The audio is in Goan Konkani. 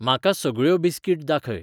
म्हाका सगळ्यो बिस्कीट दाखय